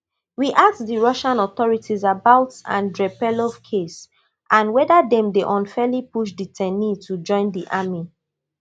we ask di russian authorities about andrey perlov case and weda dem dey unfairly push detainees to join di army